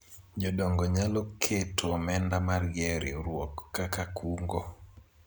jodongo nyalo keto omenda margi e riwruok kaka kungo